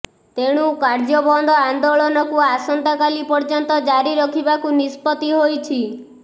ତେଣୁ କାର୍ଯ୍ୟବନ୍ଦ ଆନ୍ଦୋଳନକୁ ଆସନ୍ତାକାଲି ପର୍ଯ୍ୟନ୍ତ ଜାରି ରଖିବାକୁ ନିଷ୍ପତ୍ତି ହୋଇଛି